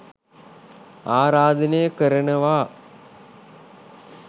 ආරාධනය කරනවා